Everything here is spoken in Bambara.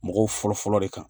Mɔgɔw fɔlɔ fɔlɔ de kan